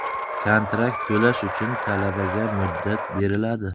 Kontrakt to‘lash uchun talabaga muddat beriladi.